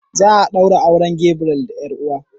Za a ɗaura auren Gabriel da yar'uwa.